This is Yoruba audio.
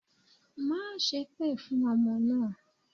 Má sépè fún ọmọ náà!